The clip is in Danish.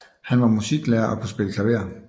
Han var musiklærer og kunne spille klaver